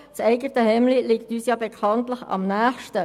Das eigene Hemd ist uns bekanntlich am nächsten.